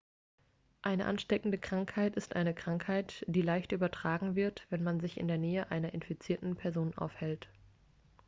eine ansteckende krankheit ist eine krankheit die leicht übertragen wird wenn man sich in der nähe einer infizierten person aufhält